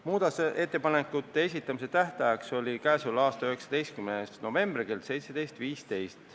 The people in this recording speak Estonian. Muudatusettepanekute esitamise tähtajaks oli k.a 19. november kell 17.15.